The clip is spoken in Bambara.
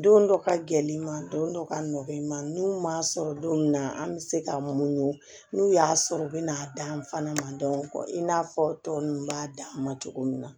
Don dɔ ka gɛlɛn i ma don dɔ ka nɔkɔ i ma n'u m'a sɔrɔ don min na an bɛ se ka mun n'u y'a sɔrɔ u bɛ n'a dan fana ma i n'a fɔ tɔ ninnu b'a dan ma cogo min na